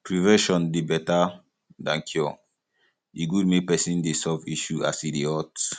prevention dey better than cure e good make person dey solve issue as e dey hot